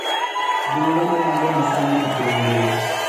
Gin lendo mage masani epiny ngima